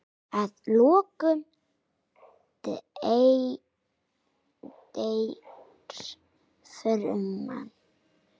Að lokum deyr fruman.